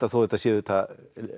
þó þetta sé auðvitað